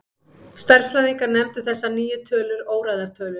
Stærðfræðingar nefndu þessar nýju tölur óræðar tölur.